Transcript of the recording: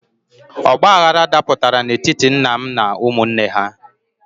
Ọgbaghrara dapụtara n'etiti nna m na ụmụnne ha.